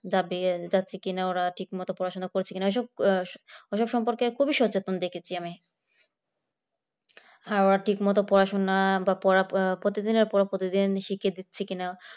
যাবে যাচ্ছে কিনা ওরা ঠিকমতো পড়াশোনা করছে কিনা ওইসব ওরা সব সম্পর্কে খুবই সচেতন দেখেছি খাওয়া ঠিক মতো পড়াশুনা বা প্রতিদিনের পড়া প্রতিদিন শিখছে কিনা